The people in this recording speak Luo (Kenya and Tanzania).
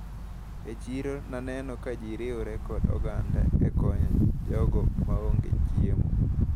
E chiro naneno ka ji riwre kod oganda e konyo jogo maonge chiemo.